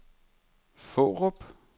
Fårup